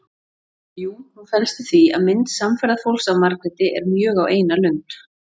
Jú, hún felst í því að mynd samferðafólks af Margréti er mjög á eina lund.